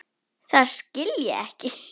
Það skil ég ekki.